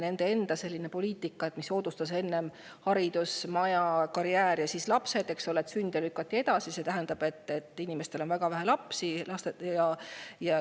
Nende enda poliitika tõttu, mis soodustas seda, et enne haridus, maja, karjäär ja siis lapsed, lükati sünde edasi ja see tähendab seda, et inimestel on väga vähe lapsi.